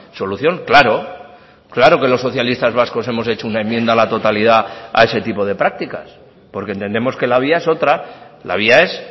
solución claro claro que los socialistas vascos hemos hecho una enmienda a la totalidad a ese tipo de prácticas porque entendemos que la vía es otra la vía es